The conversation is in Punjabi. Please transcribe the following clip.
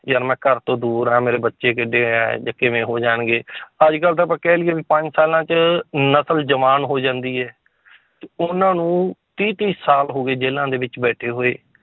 ਯਾਰ ਮੈਂ ਘਰ ਤੋਂ ਦੂਰ ਹੈ ਮੇਰੇ ਬੱਚੇ ਕਿੱਡੇ ਹੈ ਜਾਂ ਕਿਵੇਂ ਹੋ ਜਾਣਗੇ ਅੱਜ ਕੱਲ੍ਹ ਤਾਂ ਆਪਾਂ ਕਹਿ ਲਈਏ ਵੀ ਪੰਜ ਸਾਲਾਂ 'ਚ ਨਸ਼ਲ ਜਵਾਨ ਹੋ ਜਾਂਦੀ ਹੈ ਤੇ ਉਹਨਾਂ ਨੂੰ ਤੀਹ ਤੀਹ ਸਾਲ ਹੋ ਗਏ ਜੇਲ੍ਹਾਂ ਦੇ ਵਿੱਚ ਬੈਠੇ ਹੋਏ